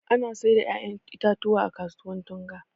Ana sayar da ƴaƴan itatuwa a kasuwar Tunga.